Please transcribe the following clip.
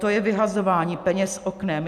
To je vyhazování peněz oknem.